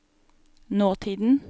nåtiden